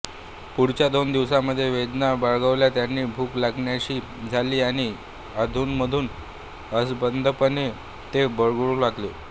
पुढच्या दोन दिवसांमध्ये वेदना बळावल्या त्यांना भूक लागेनाशी झाली आणि अधूनमधून असंबद्धपणे ते बरळू लागले